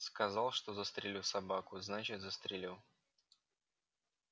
сказал что застрелю собаку значит застрелю